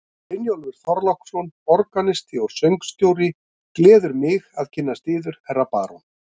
Brynjólfur Þorláksson, organisti og söngstjóri, gleður mig að kynnast yður, herra barón.